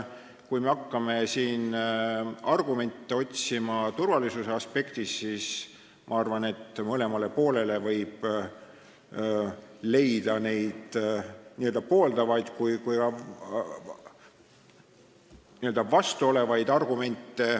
Kui me hakkame otsima argumente turvalisuse aspektist, siis ma arvan, et mõlemale võib leida n-ö pooldavaid ja ka n-ö vastu olevaid argumente.